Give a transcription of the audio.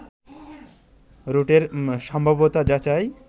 রুটের সম্ভাব্যতা যাচাই